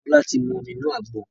Bola tí mú omí inu àgbọn